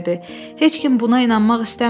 Heç kim buna inanmaq istəmirdi.